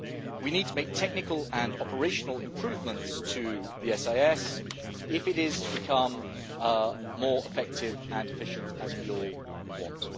We need to make technical and operational improvements to the SIS if it is to become more effective and efficient, as we all want.